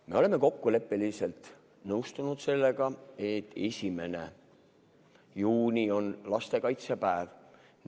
Me oleme kokkuleppeliselt nõustunud sellega, et 1. juuni on lastekaitsepäev.